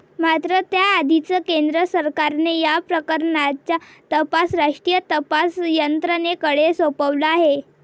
मात्र त्याआधीचं केंद्र सरकारने या प्रकरणाचा तपास राष्ट्रीय तपास यंत्रणेकडे सोपवलं आहे.